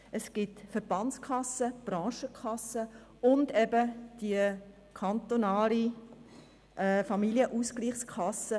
Es gibt Verbandskassen, Branchenkassen und die kantonale Familienausgleichskasse.